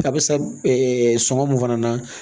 A bɛ sa ɛ sɔŋɔ mun fana na